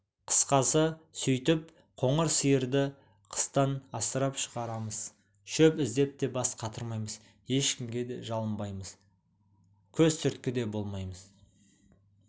қысқасы сөйтіп қоңыр сиырды қыстан асырап шығарамыз шөп іздеп те бас қатырмаймыз ешкімге жалынбаймыз да көз түрткі де болмаймыз